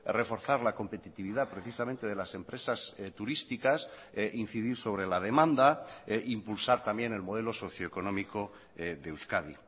reforzar la competitividad precisamente de las empresas turísticas incidir sobre la demanda e impulsar también el modelo socio económico de euskadi